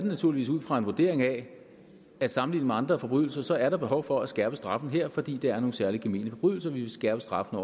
naturligvis ud fra en vurdering af at sammenlignet med andre forbrydelser er der behov for at skærpe straffen her fordi det er nogle særlig gemene forbrydelser vi vil skærpe straffen